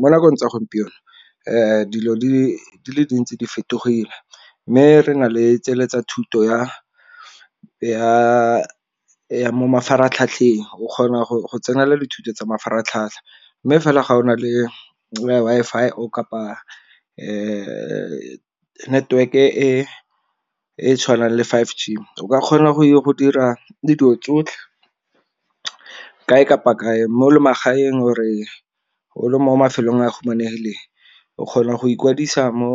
Mo nakong tsa gompieno dilo di le dintsi di fetogile, mme re na le tsele tsa thuto ya mo mafaratlhatlheng o kgona go tsenela dithuto tsa mafaratlhatlha. Mme fela ga o na le Wi-Fi kapa le network e e tshwanang le five G o ka kgona go dira le dilo tsotlhe kae kapa kae mo magaeng or-e o le mo mafelong a humanegileng o kgona go ikwadisa mo